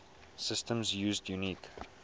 systems used unique